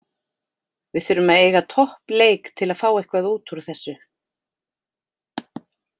Við þurfum að eiga topp leik til að fá eitthvað útúr þessu.